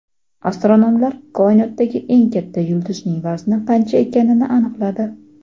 Astronomlar koinotdagi eng katta yulduzning vazni qancha ekanini aniqladi.